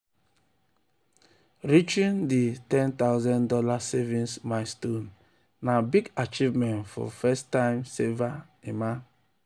reaching di one thousand dollars0 savings milestone na big achievement for first-time saver emma.